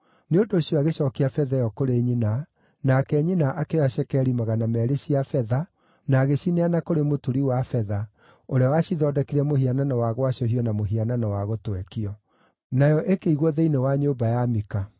Nĩ ũndũ ũcio agĩcookia betha ĩyo kũrĩ nyina, nake nyina akĩoya cekeri magana meerĩ cia betha na agĩcineana kũrĩ mũturi wa betha, ũrĩa wacithondekire mũhianano wa gwacũhio na mũhianano wa gũtwekio. Nayo ikĩigwo thĩinĩ wa nyũmba ya Mika.